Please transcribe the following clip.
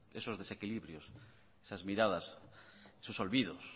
esos desequilibrios esas miradas esos olvidos